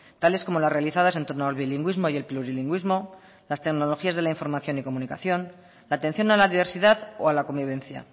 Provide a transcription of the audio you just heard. tales como las realizadas en torno al bilingüismo y el plurilingüismo las tecnologías de la información y la comunicación la atención a la diversidad o a la convivencia